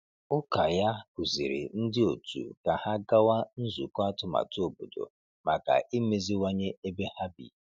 Ụka ya kụziri ndị otu ka ha gawa nzukọ atụmatụ obodo maka imeziwanye ebe ha bi.